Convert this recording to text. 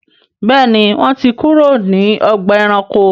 Béèni wón tí kúrò ní Ọgbà ẹranko.